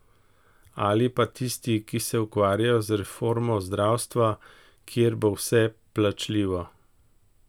Ali pa tisti, ki se ukvarjajo z reformo zdravstva, kjer bo vse plačljivo?